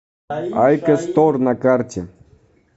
айкос стор на карте